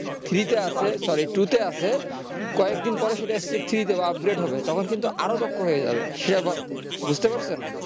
three তে আছে sorrytwo তে আছে কয়েকদিন পরে সেটা step three তে upgrade হবে তখন কিন্তু আরো দক্ষ হয়ে যাবে সে ব্যাপার বুঝতে পারছেন